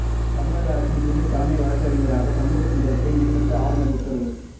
தமிழக அரசின் புதிய தலைமை வழக்கறிஞராக சண்முகசுந்தரத்தை நியமித்து ஆளுநர் உத்தரவு